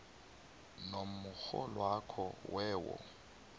nomrholwakho we wo